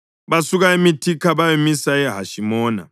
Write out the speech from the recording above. Basuka eMithika bayamisa eHashimona.